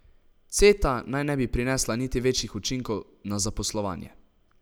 Ceta naj ne bi prinesla niti večjih učinkov na zaposlovanje.